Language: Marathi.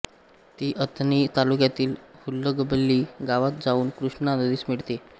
ती अथणी तालुक्यातील हुल्लगबल्ली गावात जाऊन कृष्णा नदीस मिळते